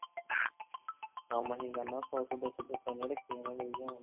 ਕੰਮ ਅਸੀਂ ਕਰਨਾ ਸੌ ਸੌ, ਦੋ ਸੌ, ਦੋ ਸੌ ਇਹਨੇ ਰੱਖੀ ਜਾਣਾ ਮੇਰੇ ਹਿਸਾਬ ਨਾਲ।